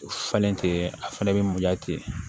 Falen ten a fɛnɛ bɛ mun diya ten